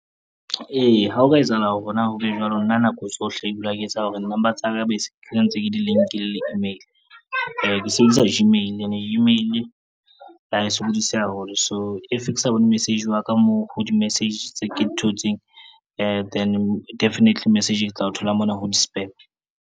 Eya ha ho ka etsahala hore na ho be jwalo, nna nako tsohle ke dula ke etsa hore number tsa ka bese ke ntse ke di-link-ile le email. Ke sebedisa Gmail ene Gmail ha e sokodise haholo, so if ke sa bone message wa ka moo ho di-message tse ke di thotseng then definitely message ke tla o thola mona ho di-spam.